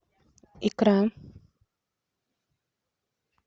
икра